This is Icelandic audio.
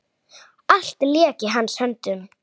Það er ekki vitað.